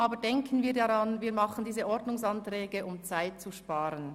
Denken wir bitte daran, wir beraten diese Ordnungsanträge, um Zeit zu sparen.